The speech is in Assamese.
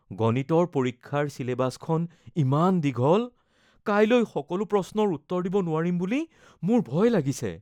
গণিতৰ পৰীক্ষাৰ ছিলেবাছখন ইমান দীঘল। কাইলৈ সকলো প্ৰশ্নৰ উত্তৰ দিব নোৱাৰিম বুলি মোৰ ভয় লাগিছে।